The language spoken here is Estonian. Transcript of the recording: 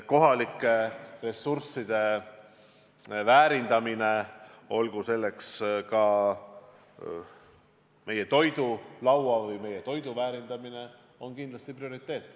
Kohalike ressursside väärindamine, sealhulgas ka meie põllumajandussaaduste väärindamine on kindlasti prioriteet.